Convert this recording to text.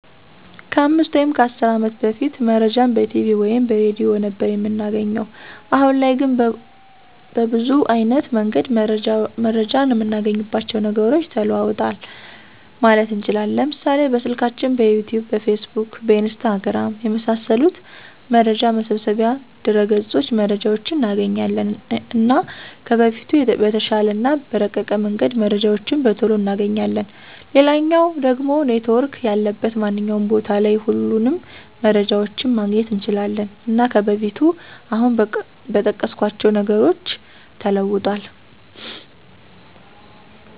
ከ 5 ወይም 10 አመት በፊት መረጃን በቲቪ ወይም በሬድዮ ነበር እምናገኘዉ። አሁን ላይ ግን በብዙ አይነት መንገድ መረጃን እምናገኝባቸዉ ነገሮች ተለዉጠዋል ማለት እንችላለን፤ ለምሳሌ፦ በስልካችን፣ በዩቱዩብ፣ በፌስቡክ፣ በኢንስታግራም፣ የመሳሰሉት መረጃ መሰብሰቢያ ድረገፆች መረጃዎችን እናገኛለን። እና ከበፊቱ በተሻለ እና በረቀቀ መንገድ መረጃዎችን በቶሎ እናገኛለን፣ ሌላኛዉ ደሞ ኔትዎርክ ያለበት ማንኛዉም ቦታ ላይ ሁሉንም መረጃዎችን ማግኘት እንችላለን። እና ከበፊቱ አሁን በጠቀስኳቸዉ ነገሮች ተለዉጧል።